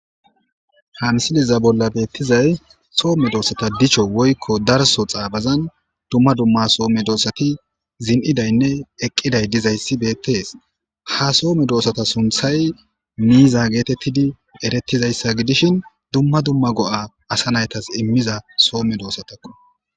hansiliza bolla beettizay soo medoossata dicho woykko darso xaabazan dumma dumma soo medoossati zin'iidaynne eqqiday dizayssi beettees ha soome doossata sunthay miiza geetettidi erettizayssa gidishin dumma dumma go'a asa naytas immiza soo medoossatakko